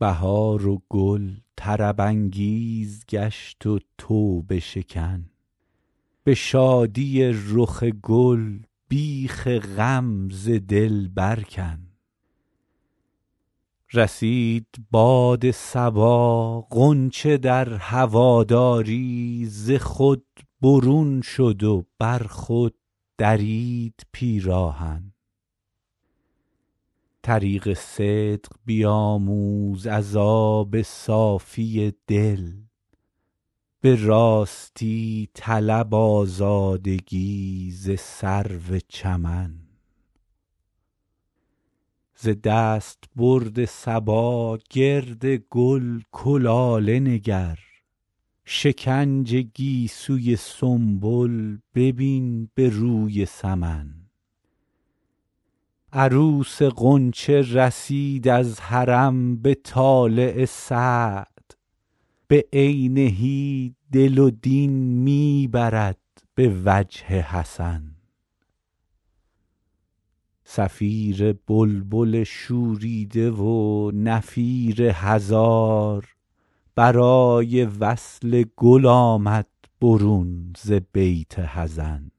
بهار و گل طرب انگیز گشت و توبه شکن به شادی رخ گل بیخ غم ز دل بر کن رسید باد صبا غنچه در هواداری ز خود برون شد و بر خود درید پیراهن طریق صدق بیاموز از آب صافی دل به راستی طلب آزادگی ز سرو چمن ز دستبرد صبا گرد گل کلاله نگر شکنج گیسوی سنبل ببین به روی سمن عروس غنچه رسید از حرم به طالع سعد بعینه دل و دین می برد به وجه حسن صفیر بلبل شوریده و نفیر هزار برای وصل گل آمد برون ز بیت حزن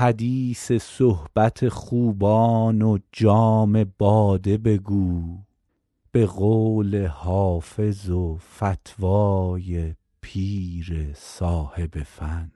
حدیث صحبت خوبان و جام باده بگو به قول حافظ و فتوی پیر صاحب فن